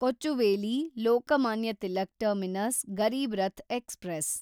Kochuveli Lokmanya Tilak terminus Garib Rath express